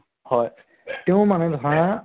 হয়, তেওঁ মানে ধৰা